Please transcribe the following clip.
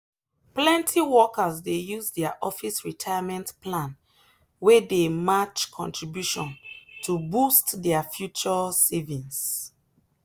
plenty workers dey use their office retirement plan wey dey match contribution to boost their future savings.